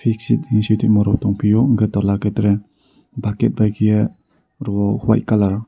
fixit tin sitongma rok tongpiyo hingke l toulake tere bucket bai keye rowyo white colour.